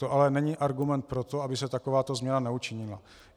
To ale není argument pro to, aby se takováto změna neučinila.